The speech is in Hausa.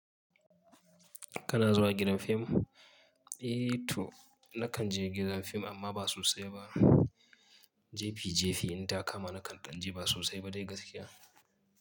Kana zuwa gidan fim? Eh to nakan je gida fim amma ba sosai ba. Jefi jefi in ta kama nakan ɗanje ba sosai ba dai gaskiya.